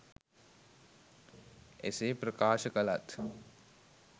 එසේ ප්‍රකාශ කළත්